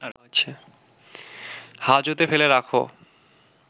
হাজতে ফেলে রাখো